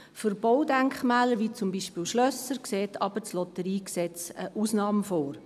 Für Baudenkmäler wie zum Beispiel Schlösser sieht das LotG jedoch eine Ausnahme vor.